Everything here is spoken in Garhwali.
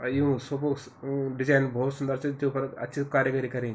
अर युं सोफोंक्स अ डिजेन भौत सुंदर च जुफर अच्छी सि कारीगरी करीं।